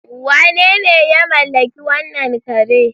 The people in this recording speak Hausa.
Wanene ya mallaki wannan kare?